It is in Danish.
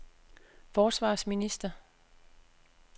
forsvarsminister